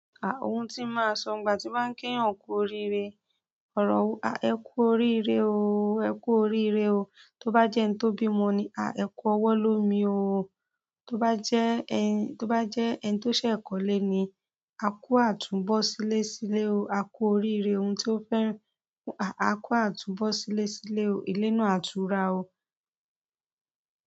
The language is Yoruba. Oun ti máa sọ ìgbà tí ba ń ki èèyàn kùú orire, ọrọ wo a "ẹkù orire o, ẹkù orirebo" tó bá jẹ́ ẹni tó bímọ ni, à ẹ kú ọwọ́ lómi ooo. Tó bá jẹ́ ẹni, tó bá jẹ́ ẹni tó ṣẹ̀ kọ́ ilé ni, a kú àtúnbọ̀sílẹ̀sílé ooo, a kú oríire ohun tí o fẹ́ rìn, à a kú àtúnbọ̀sílẹ̀sílé ooo. Ilé ni náà à túrà ooo.